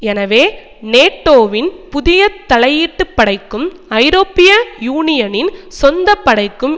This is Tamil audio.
எனவே நேட்டோவின் புதிய தலையீட்டுப் படைக்கும் ஐரோப்பிய யூனியனின் சொந்த படைக்கும்